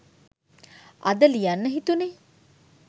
අද ලියන්න හිතුණේ